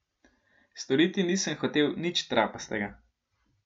Storiti nisem hotel nič trapastega.